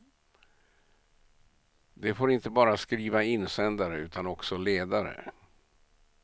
De får inte bara skriva insändare utan också ledare.